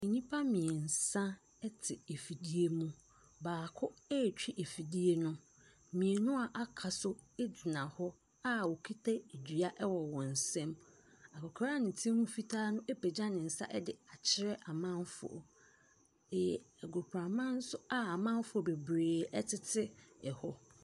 Nnipa mmeɛnsa te afidie mu. Baako retwi afidie no, mmienu a wɔaka nso gyina hɔ a wɔkita dua wɔ wɔn nsam. Akɔkora a ne ti ho fitaa no apagya ne nsa de akyerɛ amanfoɔ. E agoprama so a amanfoɔ bebree tete hɔ.